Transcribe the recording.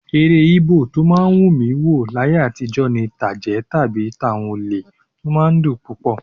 Eré Íbò tó máa ń wù mí wò láyé àtijọ́ ni tàjẹ́ tàbí tàwọn olè; ó máa ń dùn púpọ̀